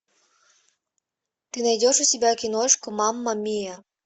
ты найдешь у себя киношку мама миа